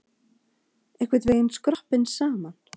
Einhvern veginn skroppinn saman.